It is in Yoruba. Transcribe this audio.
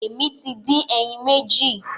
Èmi tí dín ẹyìn méjì.